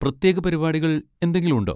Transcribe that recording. പ്രത്യേക പരിപാടികൾ എന്തെങ്കിലും ഉണ്ടോ?